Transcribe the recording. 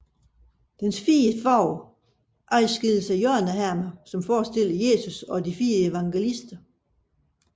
Dens fire fag adskilles af hjørnehermer forestillende Jesus og de fire evangelister